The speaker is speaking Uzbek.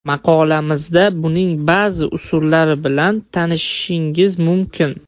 Maqolamizda buning ba’zi usullari bilan tanishishingiz mumkin.